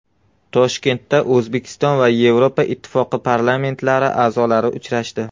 Toshkentda O‘zbekiston va Yevropa Ittifoqi parlamentlari a’zolari uchrashdi.